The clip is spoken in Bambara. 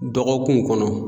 Dɔgɔkunw kɔnɔ.